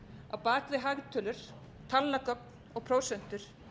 að á bak við hagtölur talnagögn og prósentur